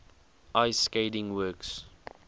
ice skating works